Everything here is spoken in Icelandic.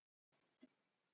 Tillagan í heild